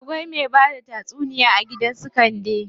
Akwai me bada tatsuniya a gidan su Kande.